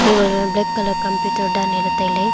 table ma black colour computer danle le taile.